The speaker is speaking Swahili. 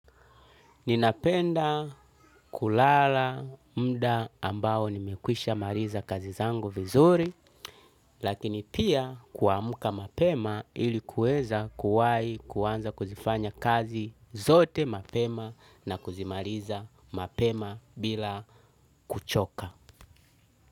Ninapenda kulala mda ambao nimekwisha maliza kazi zangu vizuri, lakini pia kuamka mapema ili kuweza kuwai kuanza kuzifanya kazi zote mapema na kuzimaliza mapema bila kuchoka.